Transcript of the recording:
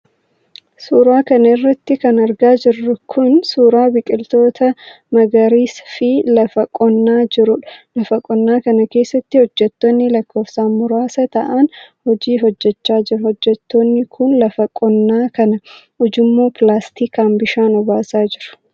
Suura kana irratti kan argaa jirru kun, suura biqiloota magariis fi lafa qonnaa jiruudha. Lafa qonnaa kana keessatti, hojjattoonni lakkoofsaan muraasa ta'an hojii hojjachaa jiru. Hojjattoonni kun ,lafa qonnaa kana ujummoo pilaastikaan bishaan obaasaa jiru.